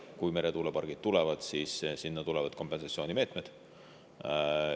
Kui meretuulepargid tulevad, siis tulevad kompensatsioonimeetmed.